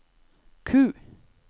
Q